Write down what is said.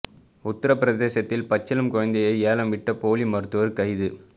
உத்தர பிரதேசத்தில் பச்சிளம் குழந்தையை ஏலம் விட்ட போலி மருத்துவர் கைது